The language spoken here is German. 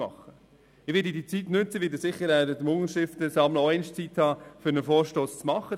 Ich werde während dem Unterschriftensammeln sicher auch einmal Zeit haben, einen Vorstoss zu machen.